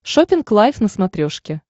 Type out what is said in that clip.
шоппинг лайв на смотрешке